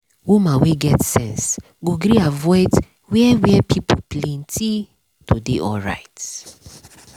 woman wey get sense go gree avoid where where pipo plenti to dey alright.